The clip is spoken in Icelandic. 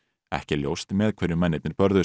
ekki er ljóst með hverjum mennirnir börðust